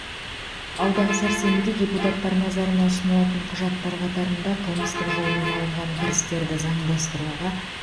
алдағы сәрсенбіде депутаттар назарына ұсынылатын құжаттар қатарында қылмыстық жолмен алынған кірістерді заңдастыруға